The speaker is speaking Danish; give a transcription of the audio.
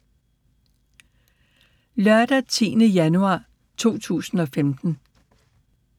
Lørdag d. 10. januar 2015